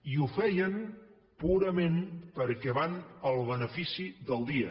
i ho feien purament perquè van al benefici del dia